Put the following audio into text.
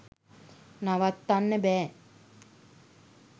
නවත්තන්න බෑ